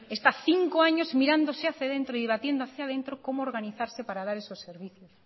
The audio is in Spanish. está cinco años mirándose hacia dentro y debatiendo hacia dentro cómo organizarse para dar esos servicios